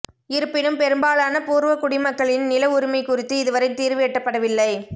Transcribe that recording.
இருப்பினும் பெரும்பாலான பூர்வ குடிமக்களின் நில உரிமை குறித்து இதுவரை தீர்வு எட்டப்படவில்லை